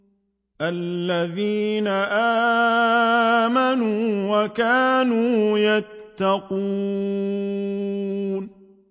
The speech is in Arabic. الَّذِينَ آمَنُوا وَكَانُوا يَتَّقُونَ